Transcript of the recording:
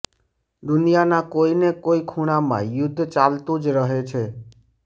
દુનિયાના કોઈ ને કોઈ ખૂણામાં યુદ્ધ ચાલતું જ રહે છે